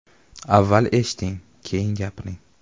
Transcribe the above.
Avval eshiting, keyin gapiring.